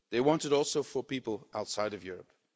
They want it also for people outside of Europe.